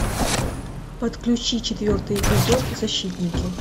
подключи четвертый эпизод защитники